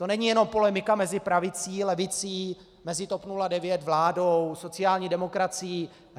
To není jenom polemika mezi pravicí, levicí, mezi TOP 09, vládou, sociální demokracií.